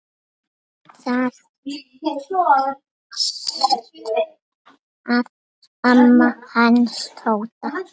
Þar stóð amma hans Tóta.